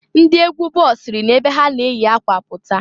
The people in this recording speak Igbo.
Ndị egwu ball siri na ebe ha na-eyi akwa pụta.